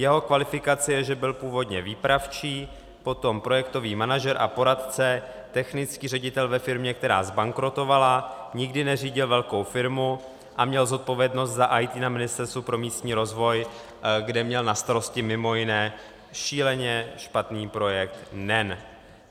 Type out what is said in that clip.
Jeho kvalifikace je, že byl původně výpravčí, potom projektový manažer a poradce, technický ředitel ve firmě, která zbankrotovala, nikdy neřídil velkou firmu a měl zodpovědnost za IT na Ministerstvu pro místní rozvoj, kde měl na starosti mimo jiné šíleně špatný projekt NEN.